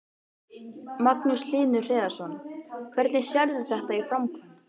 Magnús Hlynur Hreiðarsson: Hvernig sérðu þetta í framkvæmd?